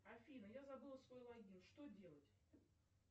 афина я забыла свой логин что делать